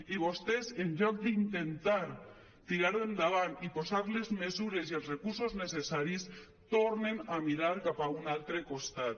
i vostès en lloc d’intentar tirar endavant i posar hi les mesures i els recursos necessaris tornen a mirar cap a un altre costat